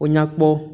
Wonyakpɔ.